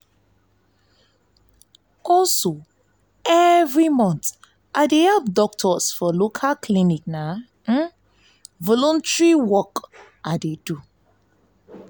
every month i dey help doctors for local clinic na voluntary work i do.